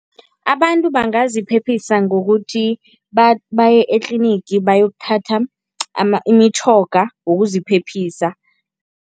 Abantu bangaziphephisa ngokuthi baye etlinigi bayokuthatha imitjhoga wokuziphephisa.